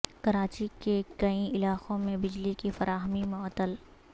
کراچی کے کئی علاقوں میں بجلی کی فراہمی معطل